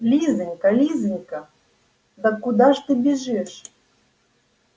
лизанька лизанька да куда ж ты бежишь